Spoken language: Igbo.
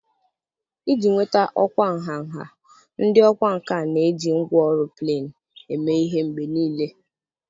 Iji nweta ọkwa nha nha, ndị ọkwá nkà na-eji ngwá ọrụ plen eme ihe mgbe nile